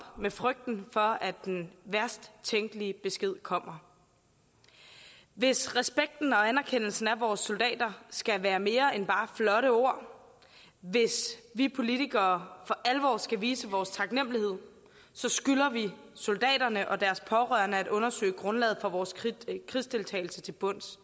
med frygten for at den værst tænkelige besked kommer hvis respekten og anerkendelsen af vores soldater skal være mere end bare flotte ord hvis vi politikere for alvor skal vise vores taknemmelighed skylder vi soldaterne og deres pårørende at undersøge grundlaget for vores krigsdeltagelse til bunds